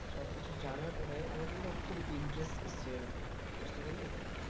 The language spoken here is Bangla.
সব কিছু জানার পরে আমার কিন্তু খুব interest এসেছে এর ওপরে বুঝতে পারলি।